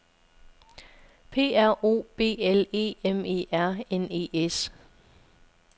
P R O B L E M E R N E S